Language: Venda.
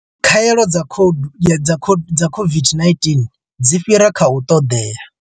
Khaelo dza COVID-19 dzi fhira kha u ṱoḓea.